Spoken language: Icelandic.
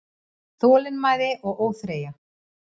Þolinmæði og óþreyja